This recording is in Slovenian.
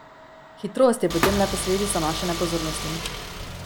Hitrost je potem le posledica naše nepozornosti.